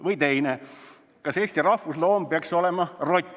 Või teine: "Kas Eesti rahvusloom peaks olema rott?